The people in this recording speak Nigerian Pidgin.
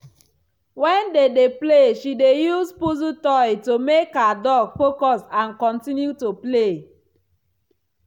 when they dey play she dey use puzzle toy to make her dog focus and continue to play.